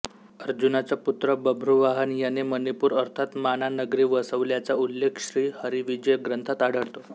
अर्जुनाचा पुत्र बभ्रुवाहन याने मणिपूर अर्थात माना नगरी वसवल्याचा उल्लेख श्री हरिविजय ग्रंथात आढळतो